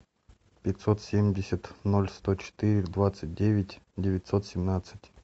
пятьсот семьдесят ноль сто четыре двадцать девять девятьсот семнадцать